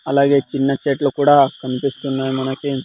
అలాగే చిన్న చెట్లు కూడా కనిపిస్తున్నాయి మనకి.